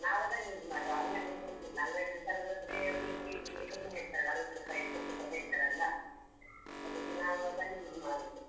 ನಾವು ಅದನ್ನೆ use ಮಾಡುದು ಅಂಗಡಿಯಿಂದ ತರುದಿಲ್ಲ ಅಂಗಡಿಯಿಂದ ತರುದಾದ್ರೆ ಒಂದು KG ಗೆ ತುಂಬ ಹೇಳ್ತಾರೆ ಅರ್ವತ್ ರುಪೈ ಎಪ್ಪತ್ ರುಪೈ ಹೇಳ್ತಾರಲ್ಲ, ಅದಕ್ಕೆ ನಾವು ಅದನ್ನೆ use ಮಾಡುದು.